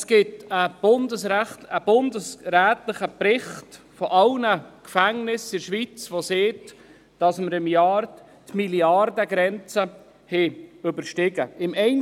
Es gibt einen bundesrätlichen Bericht über alle Gefängnisse in der Schweiz, der besagt, dass wir pro Jahr die Milliardengrenze überstiegen haben.